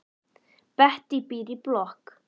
Bettý býr í blokk.